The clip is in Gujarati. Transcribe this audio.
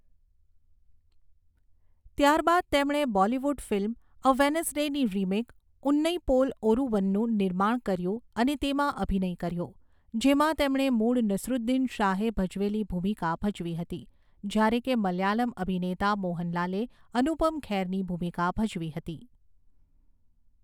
ત્યારબાદ તેમણે બોલિવૂડ ફિલ્મ 'અ વેનઝડે'ની રિમેક 'ઉન્નઇપોલ ઓરુવન'નું નિર્માણ કર્યું અને તેમાં અભિનય કર્યો, જેમાં તેમણે મૂળ નસીરુદ્દીન શાહે ભજવેલી ભૂમિકા ભજવી હતી, જ્યારે કે મલયાલમ અભિનેતા મોહનલાલે અનુપમ ખેરની ભૂમિકા ભજવી હતી.